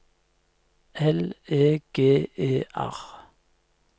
L E G E R